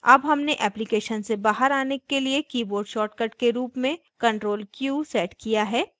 अब हमने application से बाहर as के लिए keyboard shortcut के रूप में ctrl q set किया है